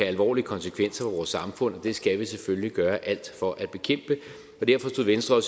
alvorlige konsekvenser for vores samfund og det skal vi selvfølgelig gøre alt for at bekæmpe og derfor stod venstre